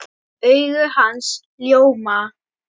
Augu hans ljóma.